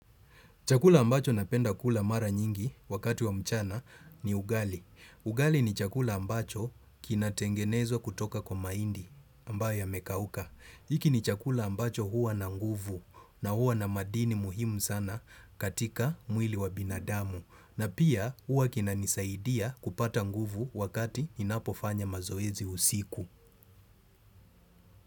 Chakula ambacho napenda kula mara nyingi wakati wa mchana ni ugali. Ugali ni chakula ambacho kinatengenezwa kutoka kwa maindi ambayo yamekauka. Iki ni chakula ambacho huwa na nguvu na huwa na madini muhimu sana katika mwili wa binadamu. Na pia huwa kina nisaidia kupata nguvu wakati inapo fanya mazoezi usiku.